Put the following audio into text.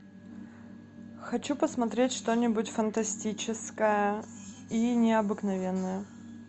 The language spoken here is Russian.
хочу посмотреть что нибудь фантастическое и необыкновенное